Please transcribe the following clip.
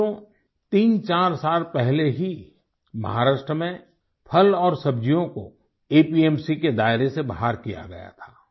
साथियो तीनचार साल पहले ही महाराष्ट्र में फल और सब्जियों को एपीएमसी के दायरे से बाहर किया गया था